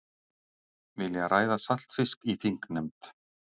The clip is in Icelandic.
Vilja ræða saltfisk í þingnefnd